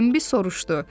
Bimbi soruşdu.